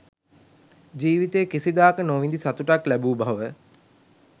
ජීවිතයේ කිසිදාක නොවිඳි සතුටක් ලැබූ බව